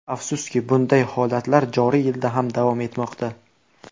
Afsuski, bunday holatlar joriy yilda ham davom etmoqda.